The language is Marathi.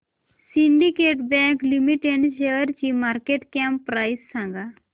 सिंडीकेट बँक लिमिटेड शेअरची मार्केट कॅप प्राइस सांगा